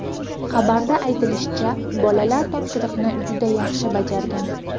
Xabarda aytilishicha, bolalar topshiriqni juda yaxshi bajargan.